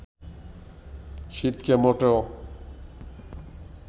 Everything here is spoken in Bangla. শীতকে মোটেও